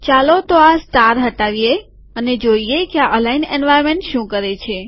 ચાલો તો આ સ્ટાર હટાવી જોઈએ કે આ અલાઈન એન્વાર્નમેન્ટ શું કરે છે